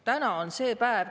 Täna on see päev.